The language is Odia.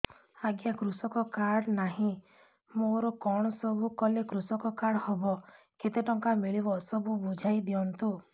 ଆଜ୍ଞା କୃଷକ କାର୍ଡ ନାହିଁ ମୋର କଣ ସବୁ କଲେ କୃଷକ କାର୍ଡ ହବ କେତେ ଟଙ୍କା ମିଳିବ ସବୁ ବୁଝାଇଦିଅନ୍ତୁ